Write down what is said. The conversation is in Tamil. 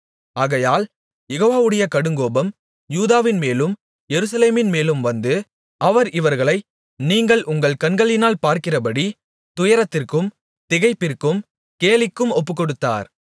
ஆகையால் யெகோவாவுடைய கடுங்கோபம் யூதாவின்மேலும் எருசலேமின்மேலும் வந்து அவர் இவர்களை நீங்கள் உங்கள் கண்களினால் பார்க்கிறபடி துயரத்திற்கும் திகைப்பிற்கும் கேலிக்கும் ஒப்புக்கொடுத்தார்